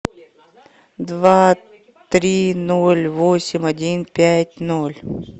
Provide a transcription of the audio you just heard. два три ноль восемь один пять ноль